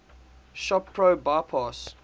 shop pro bypass